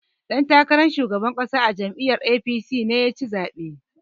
Ɗan takaran shugaban ƙasa a jam'iyyar A.P.C ne ya ci zaɓen.